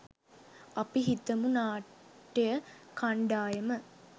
අපි හිතමු නාට්‍ය කණ්ඩායම